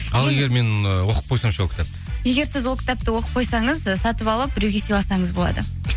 ал егер мен ы оқып қойсам ше ол кітапты егер сіз ол кітапты оқып қойсаңыз ы сатып алып біреуге сыйласаңыз болады